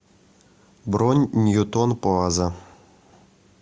бронь ньютон плаза